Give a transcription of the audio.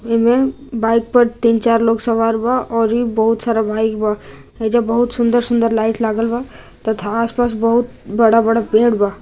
ऐमें बाइक पर तीन-चार लोग सवार बा औरी बहुत सारा बाइक बा ऐजा बहुत सुंदर-सुंदर लाइट लागल बा तथा आसपास बहुत बड़ा-बड़ा पेड़ बा।